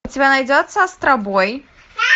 у тебя найдется астробой